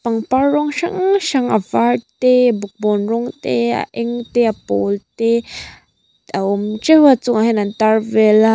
pangpar rawng hrang hrang a var te bawkbawn rawng te a eng te a pawl te a awm treuh a a chungah hian an tar vel a.